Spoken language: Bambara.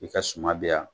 I ka suma bɛya